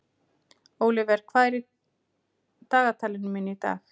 Ólíver, hvað er í dagatalinu mínu í dag?